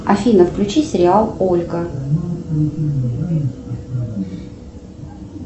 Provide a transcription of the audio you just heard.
афина включи сериал ольга